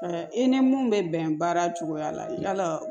I ni mun bɛ bɛn baara cogoya la yala